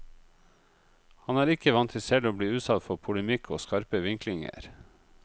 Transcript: Han er ikke vant til selv å bli utsatt for polemikk og skarpe vinklinger.